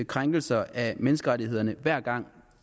krænkelser af menneskerettighederne hver gang